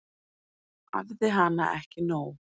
Æfði hana ekki nóg.